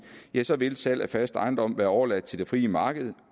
ja så vil salg af fast ejendom være overladt til det frie marked